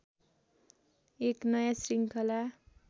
एक नयाँ श्रृङ्खला